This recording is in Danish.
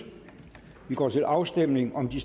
og vi går til afstemning om de